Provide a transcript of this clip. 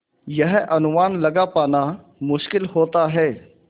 यह अनुमान लगा पाना मुश्किल होता है